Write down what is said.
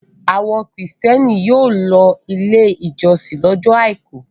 Àwọn Kìrìtẹ́ẹ́nì yóò lọ Ilé-ìjọsìn lọ́jọ́ àìkú.